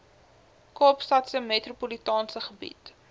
kaapstadse metropolitaanse gebied